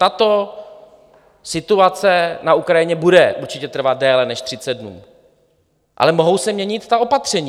Tato situace na Ukrajině bude určitě trvat déle než 30 dnů, ale mohou se měnit ta opatření.